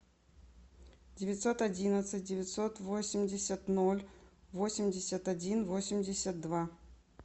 девятьсот одиннадцать девятьсот восемьдесят ноль восемьдесят один восемьдесят два